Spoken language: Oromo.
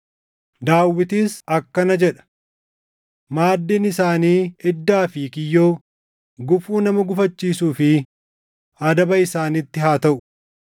Daawitis akkana jedha; “Maaddiin isaanii iddaa fi kiyyoo, gufuu nama gufachiisuu fi adaba isaanitti haa taʼu.